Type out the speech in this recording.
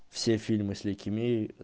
все фильмы с лейкимией